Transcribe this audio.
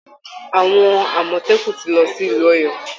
Àwọn Àmọ̀tẹ́kùn ti lọ sí ìlú Ọ̀yọ́